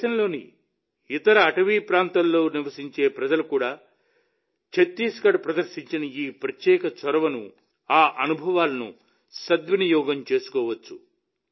దేశంలోని ఇతర అటవీ ప్రాంతాల్లో నివసించే ప్రజలు కూడా ఛత్తీస్గఢ్ ప్రదర్శించిన ఈ ప్రత్యేక చొరవను ఆ అనుభవాలను సద్వినియోగం చేసుకోవచ్చు